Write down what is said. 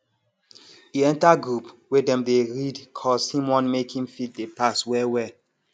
e enter group wey dem dey read cos him want make him fit dey pass wellwell